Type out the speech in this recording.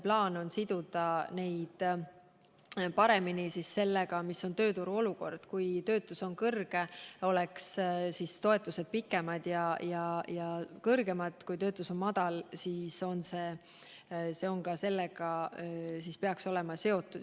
Plaan on siduda seda paremini sellega, milline on tööturuolukord – kui töötuse määr on kõrge, võiksid toetused olla pikemaajalised ja suuremad, ning kui töötuse määr on madal, siis peaks ka seda arvestama.